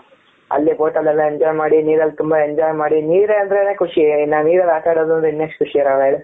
ಅಲ್ಲಿ boat ಅಲ್ಲ ಎಲ್ಲ enjoy ಮಾಡಿ ನೀರಲಿ ತುಂಬಾ enjoy ಮಾಡಿ ನೀರ ಅಂದ್ರೆ ನೇ ಖುಷಿ ಇನ್ನು ನೀರಲ್ಲಿ ಆಟ ಆಡೋದು ಅಂದ್ರೆ ಎಷ್ಟು ಖುಷಿ ಇರಲ್ಲ ಹೇಳು.